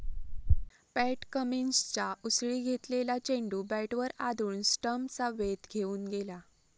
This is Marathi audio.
पॅट कमिन्सच्या उसळी घेतलेला चेंडू बॅटवर आदळून स्टम्प्सचा वेध घेऊन गेला.